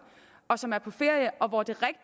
og som er på ferie